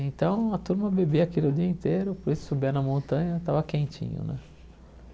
Então, a turma bebia aquilo o dia inteiro, por isso, subia na montanha estava quentinho né.